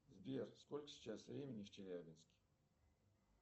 сбер сколько сейчас времени в челябинске